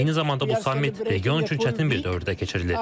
Eyni zamanda bu sammit region üçün çətin bir dövrdə keçirilir.